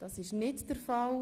– Dies ist nicht der Fall.